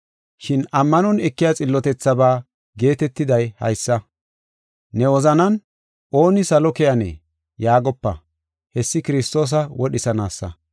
Shin ammanon ekiya xillotethabaa geetetiday haysa: “Ne wozanan, ‘Ooni salo keyanee?’ yaagopa; hessi Kiristoosa wodhisanaasa.